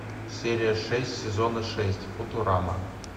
серия шесть сезона шесть футурама